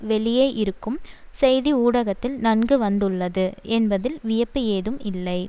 வெளியே இருக்கும் செய்தி ஊடகத்தில் நன்கு வந்துள்ளது என்பதில் வியப்பு ஏதும் இல்லை